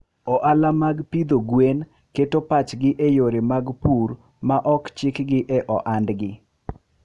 Ohala mag pidho gwen keto pachgi e yore mag pur ma ok chikgi e ohandgi.